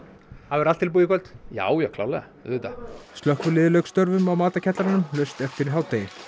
verður allt tilbúið í kvöld já já klárlega auðvitað slökkviliðið lauk störfum á laust eftir hádegi